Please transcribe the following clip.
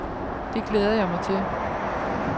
Det glæder jeg mig til.